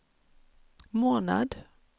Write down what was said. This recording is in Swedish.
månad